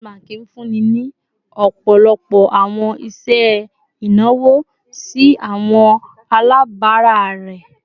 Access Bank nfunni ni ọpọlọpọ awọn iṣẹ inawo si awọn alabara rẹ